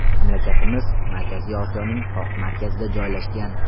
Mamlakatimiz Markaziy Osiyoning qoq markazida joylashgan.